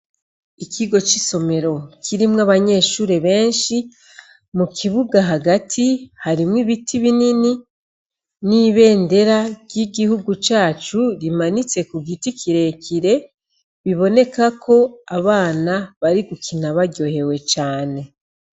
Ikigo c'isomero kirimwo abanyeshure benshi, mu kibuga hagati harimwo ibiti binini n'ibendera ry'igihugu cacu rimanitse ku giti kire kire, biboneka ko abana bari gukina baryohewe cane.